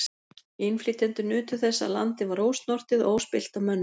Innflytjendur nutu þess að landið var ósnortið og óspillt af mönnum.